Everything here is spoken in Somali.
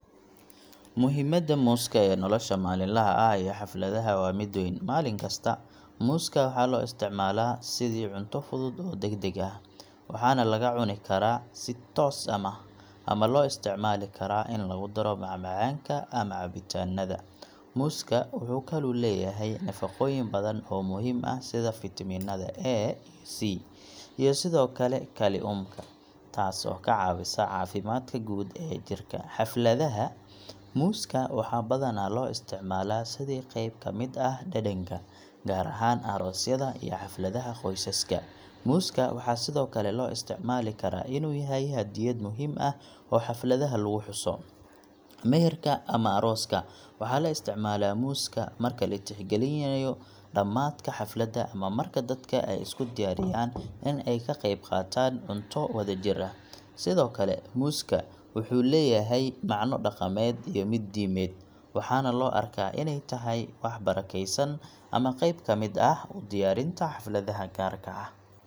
Muhiimadda muuska ee nolosha maalinlaha ah iyo xafladaha waa mid weyn. Maalin kasta, muuska waxaa loo isticmaalaa sidii cunto fudud oo degdeg ah, waxaana laga cuni karaa si toos ah ama loo isticmaali karaa in lagu daro macmacaanka ama cabitaanada. Muuska wuxuu kaloo leeyahay nafaqooyin badan oo muhiim ah sida fiitamiinada A iyo C, iyo sidoo kale kaliumka, taas oo ka caawisa caafimaadka guud ee jidhka. Xafladaha, muuska waxaa badanaa loo isticmaalaa sidii qayb ka mid ah dhaqanka, gaar ahaan aroosyada iyo xafladaha qoysaska. Muuska waxaa sidoo kale loo isticmaali karaa inuu yahay hadiyad muhiim ah oo xafladaha lagu xuso. Meherka ama arooska, waxaa la isticmaalaa muuska marka la tixgelinayo dhamaadka xafladda ama marka dadka ay isku diyaariyaan in ay ka qayb qaataan cunto wadajir ah. Sidoo kale, muuska wuxuu leeyahay macno dhaqameed iyo mid diimeed, waxaana loo arkaa inay tahay wax barakaysan ama qeyb ka mid ah u diyaarinta xafladaha gaarka ah.